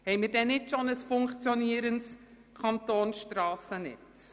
Verfügen wir denn nicht bereits über ein funktionierendes Kantonsstrassennetz?